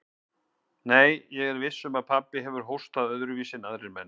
Nei, ég er viss um að pabbi hefur hóstað öðruvísi en aðrir menn.